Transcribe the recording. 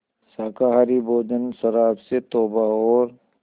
शाकाहारी भोजन शराब से तौबा और